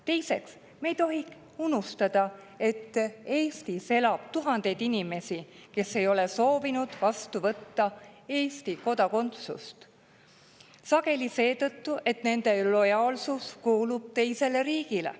Teiseks, me ei tohi unustada, et Eestis elab tuhandeid inimesi, kes ei ole soovinud võtta Eesti kodakondsust, sageli seetõttu, et nende lojaalsus kuulub teisele riigile.